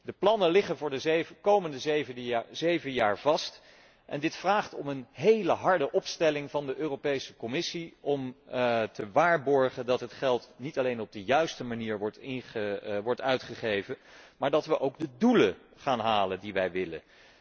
De plannen liggen voor de komende zeven jaar vast en dit vraagt om een hele harde opstelling van de Europese Commissie om te waarborgen dat het geld niet alleen op de júiste manier wordt uitgegeven, maar dat we ook de dóelen gaan halen die wij willen.